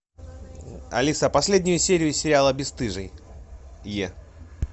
алиса последнюю серию сериала бесстыжие